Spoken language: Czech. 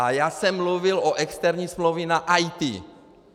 A já jsem mluvil o externí smlouvě na IT.